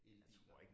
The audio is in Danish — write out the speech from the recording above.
Elbiler